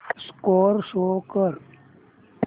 score show कर